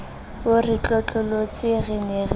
o re tlotlolotse re ne